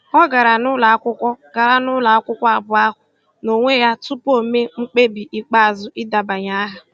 Ọ gara n'ụlọ akwụkwọ gara n'ụlọ akwụkwọ abụọ ahụ n'onwe ya tupu o mee mkpebi ikpeazụ idebanye aha.